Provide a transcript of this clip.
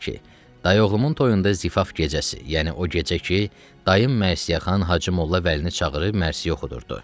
dayı oğlumun toyunda zifaf gecəsi, yəni o gecə ki, dayım Mərsiyyəxan Hacı Molla Vəlini çağırıb mərsiyə oxudurdu.